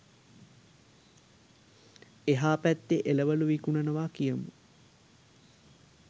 එහා පැත්තේ එළවලු විකුණනවා කියමු.